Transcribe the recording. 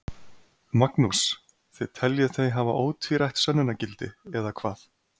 Magnús: Þið teljið þau hafa ótvírætt sönnunargildi, eða hvað?